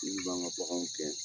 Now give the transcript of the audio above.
Min b'an ka baganw gɛn.